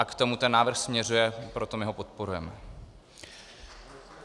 A k tomu ten návrh směřuje, proto my ho podporujeme.